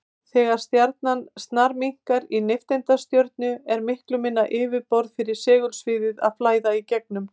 Þegar stjarnan snarminnkar í nifteindastjörnu er miklu minna yfirborð fyrir segulsviðið að flæða í gegnum.